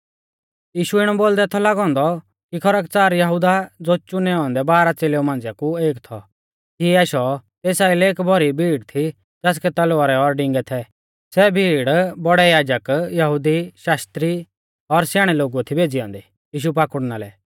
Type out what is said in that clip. यीशु इणौ बोलदै थौ लागौ औन्दौ कि खरकच़ार यहुदा ज़ो चुनै औन्दै बारह च़ेलेउ मांझिया कु एक थौ तिऐ आशौ तेस आइलै एक भौरी भीड़ थी ज़ासकै तलवारै और डिंगै थै सै भीड़ बौड़ै याजक यहुदी शास्त्री और स्याणै लोगुऐ थी भेज़ी औन्दी यीशु पाकुड़ना लै